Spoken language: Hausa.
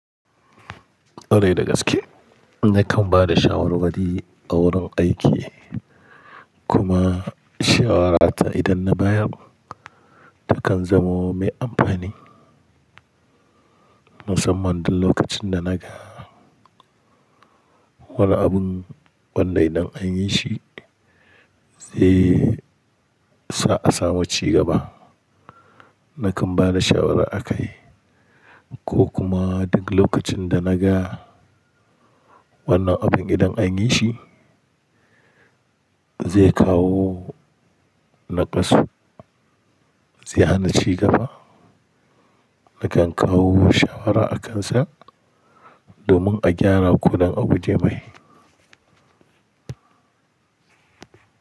Kwarai da gaske, nakan ba da shawarwari a wurin aiki kuma shawarata idan na bayar takan zamo mai amfani. Musamman duk lokacin da naga wani abun wanda idan an yi shi sai sa'a samu cigaba, nakan ba da shawara a kai ko kuma duk lokacin da naga wannan abin idan an yi shi zai kawo naƙasu zai hana cigaba, nakan kawo shawara akan sa domin a gyara ko dan aguje mai.